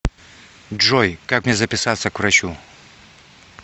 джой как мне записаться к врачу